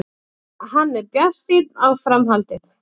Hann er bjartsýnn á framhaldið.